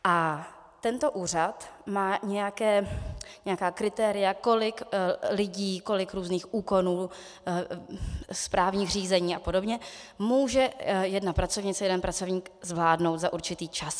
A tento úřad má nějaká kritéria, kolik lidí, kolik různých úkonů, správních řízení a podobně může jedna pracovnice, jeden pracovník zvládnout za určitý čas.